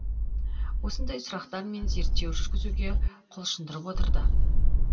осындай сұрақтар мені зерттеу жүргізуге құлшындырып отырды